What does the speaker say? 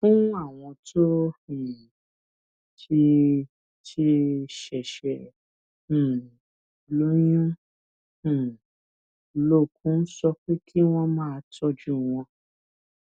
fún àwọn tó um ti ti ṣèṣè um lóyún um lókun sọ pé kí wón máa tójú wọn